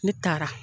Ne taara